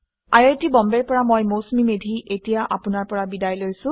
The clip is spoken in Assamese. আৰু এয়া হৈছে মৌচুমীমেধীআইআইটিবম্বেৰ পৰা